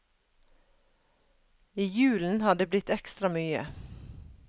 I julen har det blitt ekstra mye.